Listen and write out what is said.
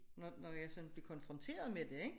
Når når jeg sådan blev konfronteret med det ikke